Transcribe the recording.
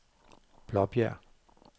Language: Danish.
Blåbjerg